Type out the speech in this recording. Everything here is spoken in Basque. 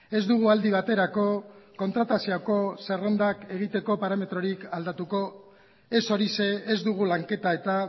ez dugu aldi baterako kontratazioko zerrendak egiteko parametrorik aldatuko ez horixe ez dugu lanketa eta